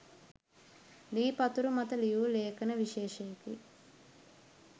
ලී පතුරු මත ලියූ ලේඛන විශේෂයකි.